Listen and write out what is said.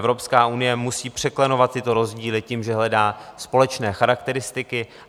Evropská unie musí překlenovat tyto rozdíly tím, že hledá společné charakteristiky.